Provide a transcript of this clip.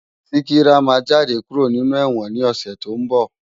Sikira má jàdé kúró ninú èwòn ni òsè tó n bò